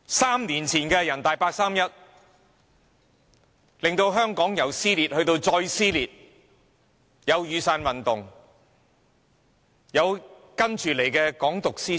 三年前的人大八三一決定，令香港社會從撕裂走向更撕裂，隨之而來的是雨傘運動及"港獨"思潮。